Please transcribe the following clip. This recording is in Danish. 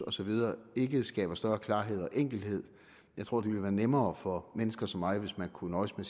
og så videre ikke skaber større klarhed og enkelhed jeg tror det ville være nemmere for mennesker som mig hvis man kunne nøjes med